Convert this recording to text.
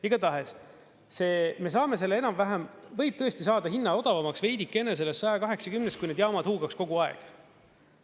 Igatahes see, me saame selle enam-vähem, võib tõesti saada hinna odavamaks veidikene sellest 180-st, kui need jaamad huugaksid kogu aeg.